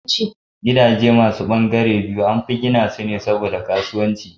Gidaje masu ɓangare biyu anfi gina su ne saboda kasuwanci